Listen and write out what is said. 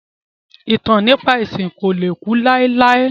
Ìtàn nípa ẹ̀sìn ko le ku láéláé